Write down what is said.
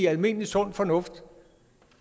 almindelig sund fornuft